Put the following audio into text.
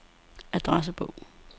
adressebog